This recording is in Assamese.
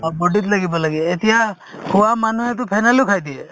অ, body ত লাগিব লাগে এতিয়া খোৱা মানুহেতো phenyl ও খাই দিয়ে